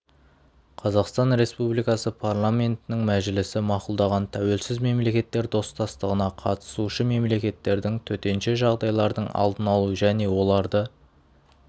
қазақстан республикасы парламентінің мәжілісі мақұлдаған тәуелсіз мемлекеттер достастығына қатысушы мемлекеттердің төтенше жағдайлардың алдын алу және оларды